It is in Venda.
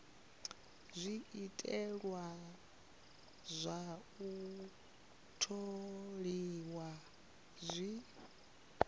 zwiteṅwa zwa u tholiwa zwi